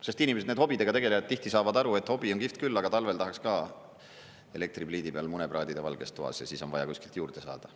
Sest inimesed, need hobidega tegelejad, tihti saavad aru, et hobi on kihvt küll, aga talvel tahaks ka elektripliidi peal mune praadida valges toas, ja siis on vaja kuskilt juurde saada.